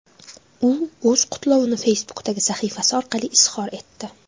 U o‘z qutlovini Facebook’dagi sahifasi orqali izhor etdi .